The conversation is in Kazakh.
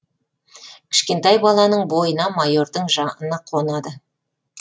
кішкентай баланың бойына майордың жаны қонады